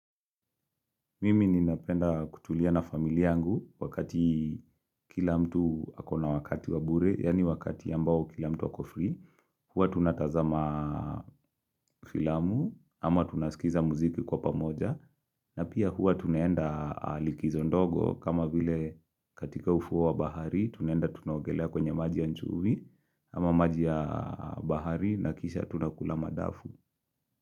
Mimi ninapenda kutulia na familia yangu wakati kila mtu ako na wakati wabure, yani wakati ambao kila mtu ako free. Huwa tunatazama filamu ama tunaskiza muziki kwa pamoja na pia huwa tunaenda likizo ndogo kama vile katika ufuo wa bahari tuneenda tunaugelea kwenye maji ya nchuvi ama maji ya bahari na kisha tunakula madafu.